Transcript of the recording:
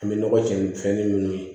An bɛ nɔgɔ jɛni fɛnɛni minnu ye